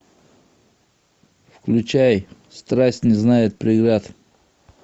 включай страсть не знает преград